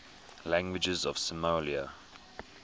languages of somalia